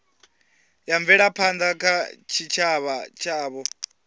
ya mvelaphanda kha tshitshavha tshavho